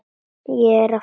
Ég er að flýta mér!